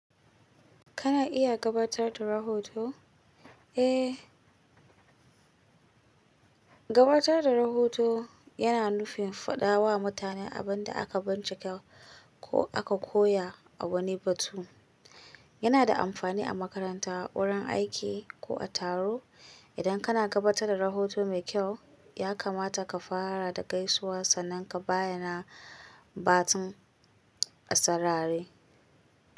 Kana iya gabatar da rahoto? Eh, gabatar da rahoto yana nufin faɗa wa mutane abin da aka bincika ko aka koya a wani batun. Yana da amfani a makaranta, wurin aiki ko a taro. Idan kana gabatar da rahoto mai kyau, ya kamata ka fara da gaisuwa sannan ka bayyana batun a sarari.